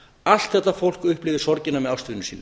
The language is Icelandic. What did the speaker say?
allt þetta fólk upplifir sorgina með ástvinum sínum